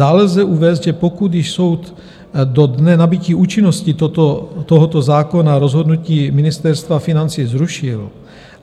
Dále lze uvést, že pokud již soud do dne nabytí účinnosti tohoto zákona rozhodnutí Ministerstva financí zrušil